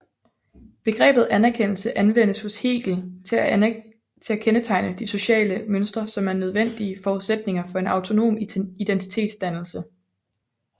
Begrebet anerkendelse anvendes hos Hegel til at kendetegne de sociale mønstre som er de nødvendige forudsætninger for en autonom identitetsdannelse